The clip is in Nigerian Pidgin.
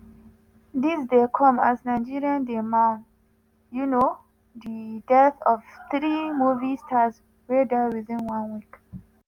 dis dey come as nigeria dey mourn um di death of three movie stars wey die within one week.